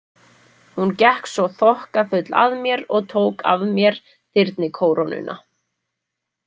Hún gekk svo þokkafull að mér og tók af mér þyrnikórónuna.